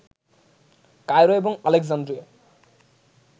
Cairo এবং আলেকজান্দ্রিয়ায়